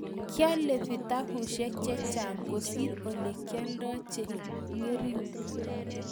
kiale vitabishek chechang kosir ole kialdai che ngering